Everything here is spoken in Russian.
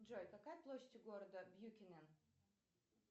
джой какая площадь у города бьюкенен